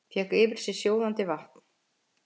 Fékk yfir sig sjóðandi vatn